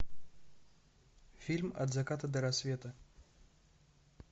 фильм от заката до рассвета